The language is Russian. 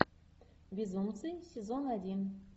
безумцы сезон один